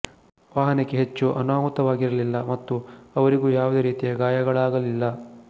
ವಾಹನಕ್ಕೆ ಹೆಚ್ಚು ಅನಾಹುತವಾಗಿರಲಿಲ್ಲ ಮತ್ತು ಅವರಿಗೂ ಯಾವುದೇ ರೀತಿಯ ಗಾಯಗಳಾಗಲಿಲ್ಲ